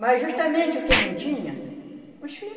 Mas justamente o que não tinha, os filho